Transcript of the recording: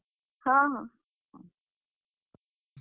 ହଁ ହଁ।